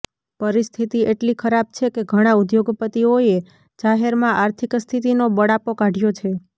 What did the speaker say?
પરિસ્થિતિ એટલી ખરાબ છે કે ઘણા ઉદ્યોગપતિઓએ જાહેરમાં આર્થિક સ્થિતિનો બળાપો કાઢ્યો છે